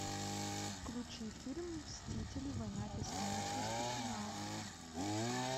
включи фильм мстители война бесконечности финал